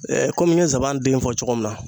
kɔmi n ye sabananden fɔ cogo min na.